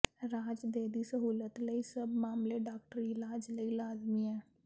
ਰਾਜ ਦੇ ਦੀ ਸਹੂਲਤ ਲਈ ਸਭ ਮਾਮਲੇ ਡਾਕਟਰੀ ਇਲਾਜ ਲਈ ਲਾਜ਼ਮੀ ਹੈ